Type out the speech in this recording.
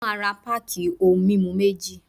Mo máa ra páàkì ohun mímu méjì.